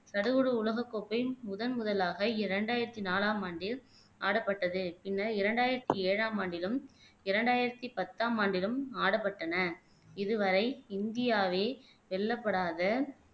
சடுகுடு உலகக் கோப்பை முதன்முதலாக இரண்டாயிரத்தி நாலாம் ஆண்டில் ஆடப்பட்டது பின்னர் இரண்டாயிரத்தி ஏழாம் ஆண்டிலும் இரண்டாயிரத்தி பத்தாம் ஆண்டிலும் ஆடப்பட்டன இதுவரை இந்தியாவே வெல்லப்படாத